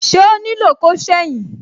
Ṣé ó nílò ko seyin?